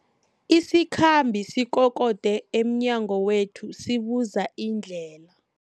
Isikhambi sikokode emnyango wethu sibuza indlela.